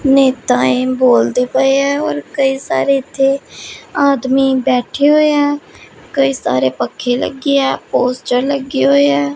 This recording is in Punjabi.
ਨੇਤਾ ਇਹ ਬੋਲਦੇ ਪਏ ਆ ਔਰ ਕਈ ਸਾਰੇ ਇਥੇ ਆਦਮੀ ਬੈਠੇ ਹੋਏ ਆ ਕਈ ਸਾਰੇ ਪੱਖੇ ਲੱਗੇ ਆ ਪੋਸਟਰ ਲੱਗੇ ਹੋਏ ਐ।